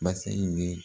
Basa in ye